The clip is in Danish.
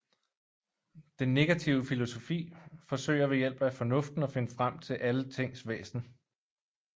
Den negative filosofi forsøger ved hjælp af fornuften at finde frem til alle tings væsen